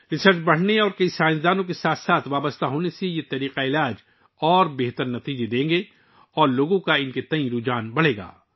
جیسے جیسے تحقیق وسیع ہوگی اور بہت سے سائنس داں اکٹھے ہوں گے، ان طبی نظاموں کے بہتر نتائج سامنے آئیں گے اور لوگوں کا ان کی طرف جھکاؤ بڑھے گا